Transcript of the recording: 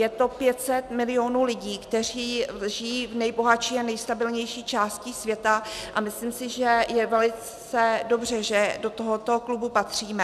Je to 500 milionů lidí, kteří žijí v nejbohatší a nejstabilnější části světa, a myslím si, že je velice dobře, že do tohoto klubu patříme.